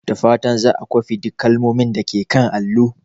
Da fatan za a kwafi duk kalmomin da ke kan allo.